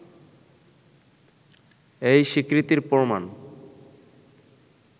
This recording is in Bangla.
এই স্বীকৃতির প্রমাণ